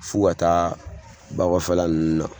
F'u ka taa ba kɔfɛla nunnu na